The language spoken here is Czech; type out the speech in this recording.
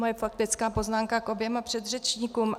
Moje faktická poznámka k oběma předřečníkům.